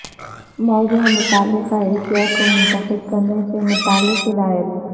موضوع متعلقہ اشیاء کو منتخب کرنے سے متعلق ہدایات